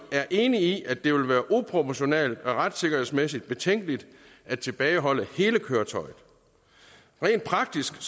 er enig i at det vil være uproportionalt og retssikkerhedsmæssigt betænkeligt at tilbageholde hele køretøjet rent praktisk